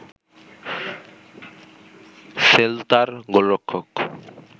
সেল্তার গোলরক্ষক